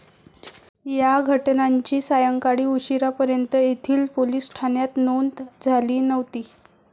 या घटनांची सायंकाळी उशिरापर्यंत येथील पोलिस ठाण्यात नोंद झाली नव्हती.